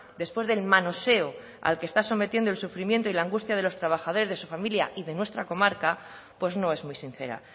después del manoseo al que está sometiendo el sufrimiento y la angustia de los trabajadores de su familia y de nuestra comarca pues no es muy sincera